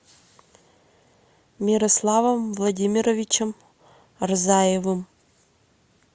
мирославом владимировичем рзаевым